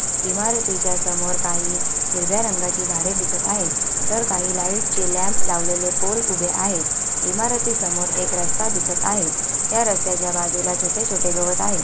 इमारतीच्या समोर काही हिरव्या रंगाची झाडे दिसत आहेत तर काही लाईटचे लॅम्प लावलेले पोल उभे आहेत इमारती समोर एक रस्ता दिसत आहेत त्या रस्याच्या बाजूला छोटे छोटे गवत आहे.